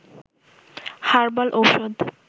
herbal ঔষধ